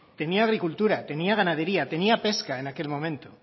tenía agricultura tenía ganadería tenía pesca en aquel momento